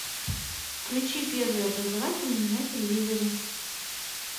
включи первый образовательный на телевизоре